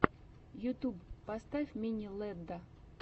ютьюб поставь мини лэдда